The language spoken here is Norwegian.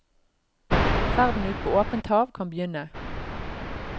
Ferden ut på åpent hav kan begynne.